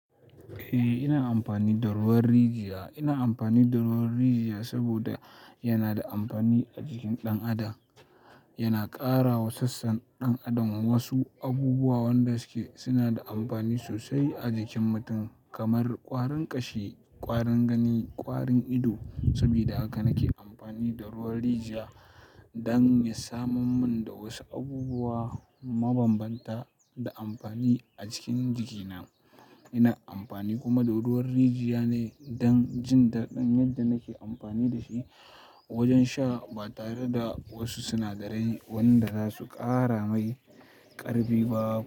Eh, ina amfani da ruwan rijiya. Ina amfani da ruwan rijiya saboda yana da amfani a jikin ɗan adam. Yana ƙara wa sassan ɗan adam wasu abubuwan da suke suna da amfani sosai a jikin mutum kamar ƙwarin ƙashi, ƙwarin gani, ƙwarin ido. Saboda haka nake amfani da ruwan rijiya don ya samo mun da wasu abubuwa mabambanta da amfani a cikin jikina. Ina amfani kuma da ruwan rijiya ne don jin daɗin yadda nake amfani da shi wajen sha ba tare da wasu sinadarai wanda za su ƙara mai ƙarbi ba.